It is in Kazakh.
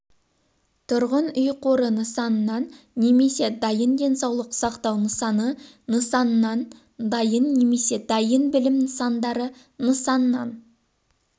тұрғын үй қоры нысаннан немесе дайын денсаулық сақтау нысаны нысаннан дайын немесе дайын білім нысандары нысаннан